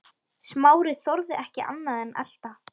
Smári þorði ekki annað en elta.